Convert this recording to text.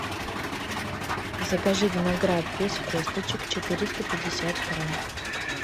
закажи виноград без косточек четыреста пятьдесят грамм